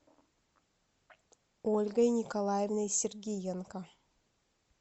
ольгой николаевной сергиенко